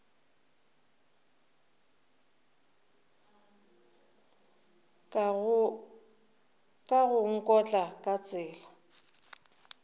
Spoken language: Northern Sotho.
ka go nkotla ka tsela